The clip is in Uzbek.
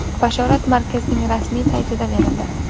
Bashorat markazning rasmiy sayti da berildi.